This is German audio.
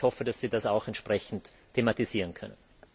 Ich hoffe, dass Sie das auch entsprechend thematisieren können.